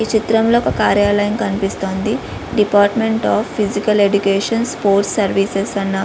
ఈ చిత్రంలో ఒక కార్యాలయం కనిపిస్తోంది department of physical education sports services అన్న --